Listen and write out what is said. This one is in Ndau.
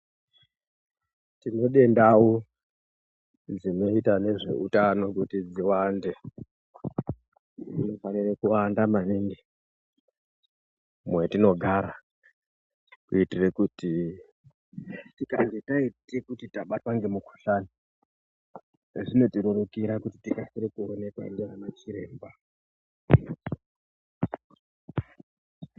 Tinode ndau dzinoita nezveutano kuti dziwande. Dzinofanire kuwanda maningi mwetinogara kuitire kuti tikange taite kuti tabatwa ngemukuhlani, zvinotirerukira kuti tikasire kuonekwa ndivana chiremba.